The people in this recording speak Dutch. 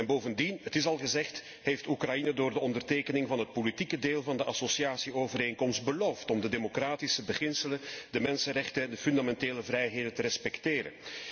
Bovendien het is al gezegd heeft Oekraïne door de ondertekening van het politieke deel van de associatieovereenkomst beloofd om de democratische beginselen, de mensenrechten en de fundamentele vrijheden te respecteren.